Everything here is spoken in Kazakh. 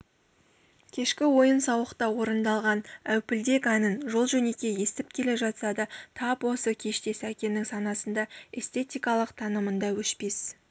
кешкі ойын-сауықта орындалған әупілдек әнін жол-жөнекей естіп келе жатса да тап осы кеште сәкеннің санасында эстетикалық танымында өшпес